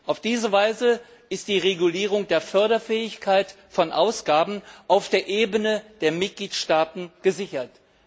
Auf diese Weise ist die Regulierung der Förderfähigkeit von Ausgaben auf der Ebene der Mitgliedstaaten gesichert.